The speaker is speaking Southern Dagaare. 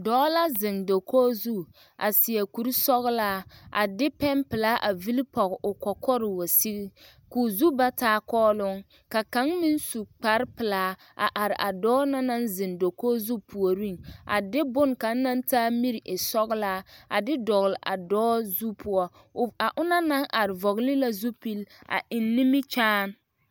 Dɔɔ la zeŋ dakogi zu a seɛ kurisɔglaa a de pɛnpelaa a villi pɔge o kɔkɔre wa sigi ka o zu ba taa kɔɔloŋ ka kaŋ meŋ su kparepelaa a are a dɔɔ na naŋ zeŋ dakogi zu puoriŋ a de bonne kaŋ naŋ taa miri e sɔglaa a de dɔgle dɔɔ zu poɔ a onaŋ naŋ are vɔgle la zupili a eŋ nimikyaane.